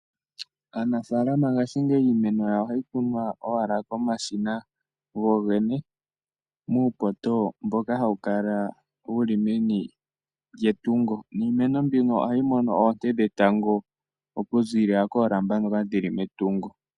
Aanafaalama ngashingeyi iimeno yawo ohayi kunwa owala komashina gogene, muupoto mboka hawu kala wu li meni lyetungo, niimeno mbino ohayi mono oonte dhetango okuziilila koolamba ndhoka dhi li metungo.